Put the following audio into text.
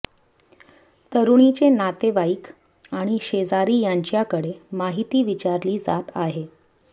तरुणीचे नातेवाईक आणि शेजारी यांच्याकडे माहिती विचारली जात आहे